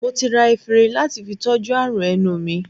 Mo ti ra efinrin lati fi tọ́jú àrùn ẹnu mi